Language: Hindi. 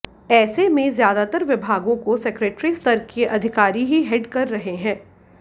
ऐसे में ज्यादातर विभागों को सेक्रेटरी स्तर के अधिकारी ही हेड कर रहे हैं